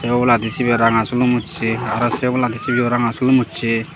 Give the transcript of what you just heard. sey obola di cibey ranga silun ussay aro say obola di cibey ow ranga silum ussey.